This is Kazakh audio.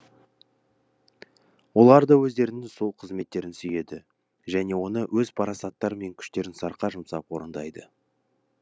олар да өздерінің сол қызметтерін сүйеді және оны өз парасаттары мен күштерін сарқа жұмсап орындайды